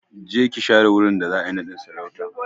Je ki share wurin da za'a yi naɗin sarautan!